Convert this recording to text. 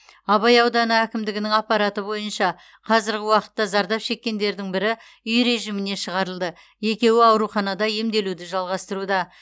абай ауданы әкімдігінің ақпараты бойынша қазіргі уақытта зардап шеккендердің бірі үй режиміне шығарылды екеуі ауруханада емделуді жалғастыруда